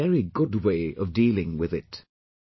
This is a very good way of dealing with it